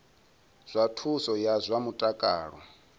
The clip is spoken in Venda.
zwa thuso ya zwa mutakalo